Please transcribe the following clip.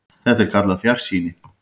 Þetta er kallað fjarsýni.